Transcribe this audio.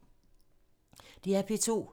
DR P2